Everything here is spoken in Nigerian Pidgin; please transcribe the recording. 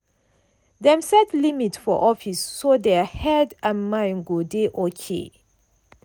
dem set limit for office so their head and mind go dey okay.